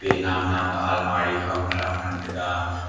ea nam nam ley anmari khama saam ngan tega.